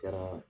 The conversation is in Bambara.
Kɛra